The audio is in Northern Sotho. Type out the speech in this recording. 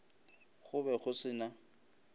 go be go se na